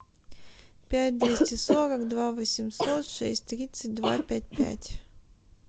пять двести сорок два восемьсот шесть тридцать два пять пять